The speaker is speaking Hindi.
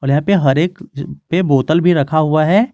यहां पे हर एक पे बोतल भी रखा हुआ है।